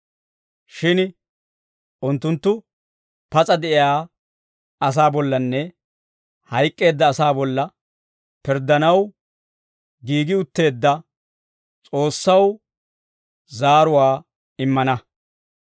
Shin unttunttu pas'a de'iyaa asaa bollanne hayk'k'eedda asaa bolla pirddanaw giigi utteedda S'oossaw zaaruwaa immana.